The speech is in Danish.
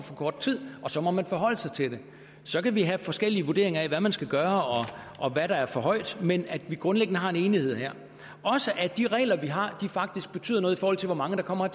kort tid og så må man forholde sig til det så kan vi have forskellige vurderinger af hvad man skal gøre og hvad der er for højt men at vi grundlæggende har en enighed her også de regler vi har faktisk betyder noget i forhold til hvor mange der kommer